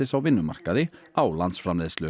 á vinnumarkaði á landsframleiðslu